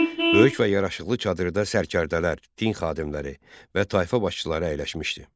Böyük və yaraşıqlı çadırda sərkərdələr, din xadimləri və tayfa başçıları əyləşmişdi.